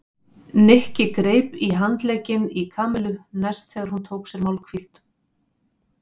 Nikki greip í handlegginn í Kamillu næst þegar hún tók sér málhvíld.